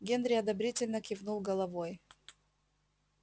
генри одобрительно кивнул головой